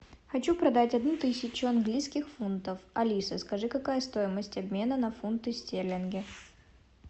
хочу продать одну тысячу английских фунтов алиса скажи какая стоимость обмена на фунты стерлингов